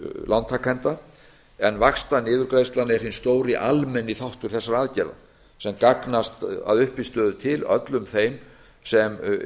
lántakenda en vaxtaniðurgreiðslan er hinn stóri almenni þáttur þessara aðgerða sem gagnast að uppistöðu til öllum þeim sem